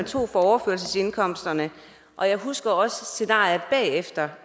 tog fra overførselsindkomsterne og jeg husker også scenariet bagefter